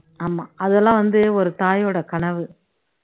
ஆமா அதெல்லாம் வந்து ஒரு தாயோட கனவு